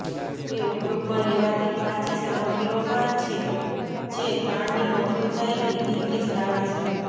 તે ઉપયોગમાં લેવાતી કાચી સામગ્રીઓમાં છે જે તાણની મજબૂતાઇની ડિગ્રી ધરાવે છે